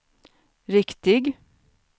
riktig